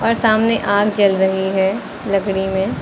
सामने आग जल रही है लकड़ी में।